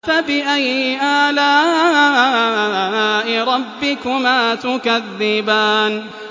فَبِأَيِّ آلَاءِ رَبِّكُمَا تُكَذِّبَانِ